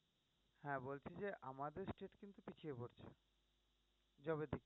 হ্যাঁ বলছি যে আমাদের state কিন্তু পিছিয়ে পড়ছে।